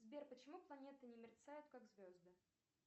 сбер почему планеты не мерцают как звезды